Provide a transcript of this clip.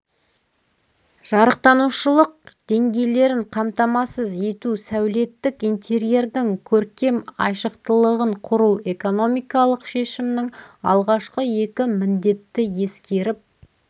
жарықтанушылық деңгейлерін қамтамасыз ету сәулеттік интерьердің көркем айшықтылығын құру экономикалық шешімнің алғашқы екі міндетті ескеріп